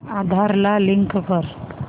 आधार ला लिंक कर